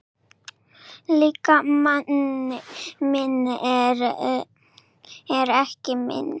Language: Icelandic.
Líkami minn er ekki minn.